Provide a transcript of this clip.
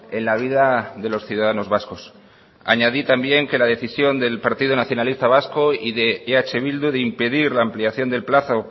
en la vida de los ciudadanos vascos añadí también que la decisión del partido nacionalista vasco y de eh bildu de impedir la ampliación del plazo